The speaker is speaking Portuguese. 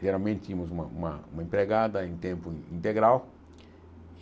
Geralmente, tínhamos uma uma uma empregada em tempo integral